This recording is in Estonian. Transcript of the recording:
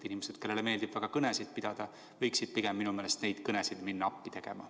Inimesed, kellele meeldib väga kõnesid pidada, võiksid pigem minu meelest neid kõnesid minna appi tegema.